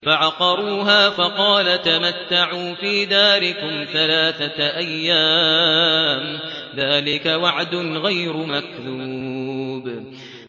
فَعَقَرُوهَا فَقَالَ تَمَتَّعُوا فِي دَارِكُمْ ثَلَاثَةَ أَيَّامٍ ۖ ذَٰلِكَ وَعْدٌ غَيْرُ مَكْذُوبٍ